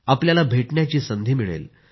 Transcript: आपल्याला भेटण्याची संधी मिळेल